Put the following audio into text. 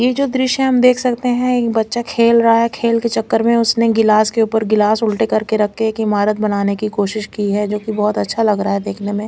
ये जो द्श्य हम देख सकते है एक बच्चा खेल रहा है खेल के चकर में उसने गिलास के उपर गिलास उलटे करके रख के एक इमारत बनाने की कोशिश की है जो की बहोत अच्छा लगा रहा है देखने में।